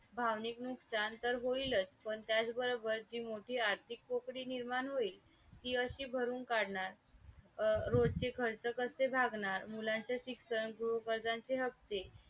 पैसा बँका गैरबँकिंग वित्तीय सेवा परकीय रोखे बाजार आणि शासकीय रोक्यापर्यंत वाढला आहे.